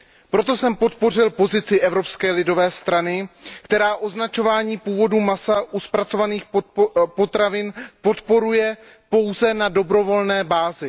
Proto jsem podpořil pozici Evropské lidové strany, která označovaní původu masa u zpracovaných potravin podporuje pouze na dobrovolné bázi.